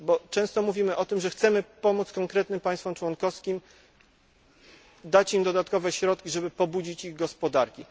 Często mówimy o tym, że chcemy pomóc konkretnym państwom członkowskim, dać im dodatkowe środki, żeby pobudzić ich gospodarki.